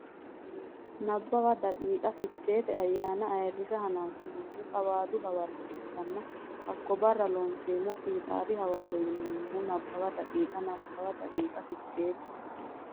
Nabbawa daqiiqa Ficheete ayyaana ayirrisa hananfannihu Qawaadu hawarro ikkanna hakko barra Looseemmo fiixaari hawarro yinanni Nabbawa daqiiqa Nabbawa daqiiqa Ficheete.